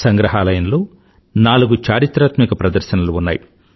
సంగ్రహాలయంలో నాలుగు చారిత్రాత్మక ప్రదర్శనలు ఉన్నాయి